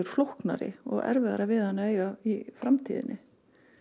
flóknari og erfiðara við hann að eiga í framtíðinni